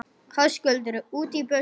Höskuldur: Út í buskann?